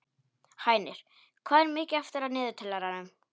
Hænir, hvað er mikið eftir af niðurteljaranum?